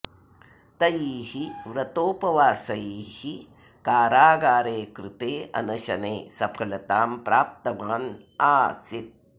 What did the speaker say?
तैः व्रतोपवासैः कारागारे कृते अनशने सफलतां प्राप्तवान् आसीत्